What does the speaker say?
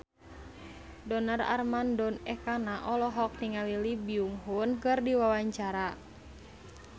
Donar Armando Ekana olohok ningali Lee Byung Hun keur diwawancara